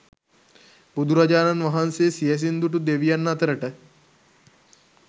බුදුරජාණන් වහන්සේ සියැසින් දුටු දෙවියන් අතරට